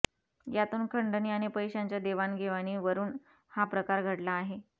यातून खंडणी आणि पैशांच्या देवाणघेवाणीवरून हा प्रकार घडला आहे